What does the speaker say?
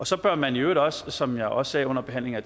så bør man i øvrigt også som jeg også sagde under behandlingen af